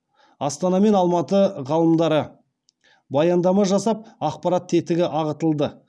астана мен алматы ғалымдары баяндама жасап ақпарат тетігі ағытылды